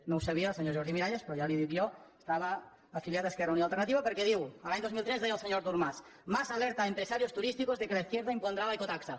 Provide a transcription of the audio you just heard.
no ho sabia el senyor jordi miralles però ja li ho dic jo estava afiliat a esquerra unida i alternativa perquè diu l’any dos mil tres deia el senyor artur mas mas alerta a empresarios turísticos de que la izquierda impondrá la ecotasa